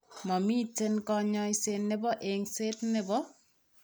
Momiten kanyaiset nebo engset nebo